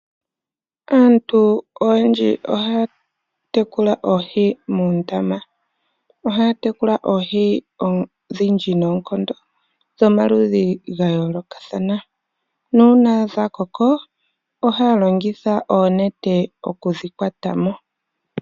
Aantu oyendji ohaya tekula Oohi muundama, ohaya tekula Oohi odhindji noonkondo dhomaludhi ga yoolokathana. Nuuna dha koko ohaya longitha oonete okudhi kwatamo.